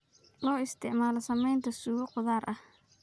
Loo isticmaalo samaynta suugo khudaar ah.